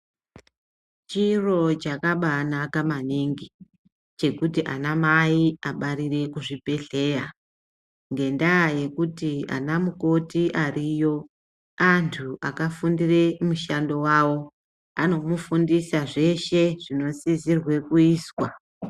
Chiro chakabaanaka maningi, chekuti anamai abarire kuzvibhedhlera ngendaa yekuti anamukoti ariyo antu akafundire mishando yavo. Anomufundisa zveshe zvinosisirwe kuizwa.